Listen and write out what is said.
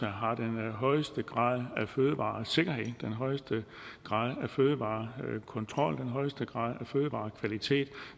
har den højeste grad af fødevaresikkerhed den højeste grad af fødevarekontrol den højeste grad af fødevarekvalitet